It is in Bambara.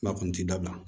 N'a kɔni ti dabila